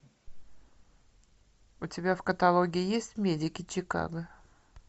у тебя в каталоге есть медики чикаго